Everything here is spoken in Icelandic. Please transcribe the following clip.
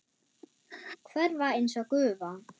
Hverfa einsog gufa.